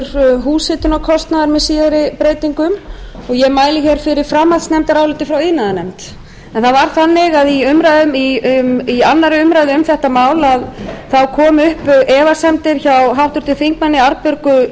niðurgreiðslur húshitunarkostnaðar með síðari breytingum og ég mæli hér fyrir framhaldsnefndaráliti frá iðnaðarnefnd en það var þannig að í annarri umræðu um þetta mál þá komu upp efasemdir hjá háttvirtum þingmönnum arnbjörgu